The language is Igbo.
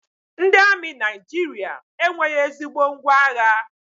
Ndị amị Naijiria enweghị ezigbo ngwá agha